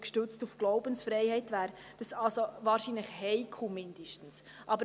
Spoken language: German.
Gestützt auf die Glaubensfreiheit wäre das wahrscheinlich zumindest heikel.